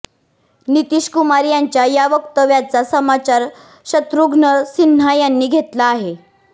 नितीश कुमार यांच्या या वक्तव्याचा समाचार शत्रुघ्न सिन्हा यांनी घेतला आहे